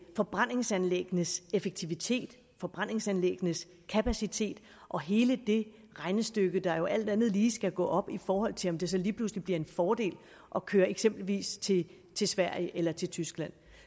forbrændingsanlæggenes effektivitet forbrændingsanlæggenes kapacitet og hele det regnestykke der jo alt andet lige skal gå op i forhold til om det så lige pludselig bliver en fordel at køre eksempelvis til sverige eller til tyskland